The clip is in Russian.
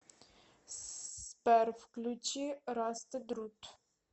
сбер включи растед рут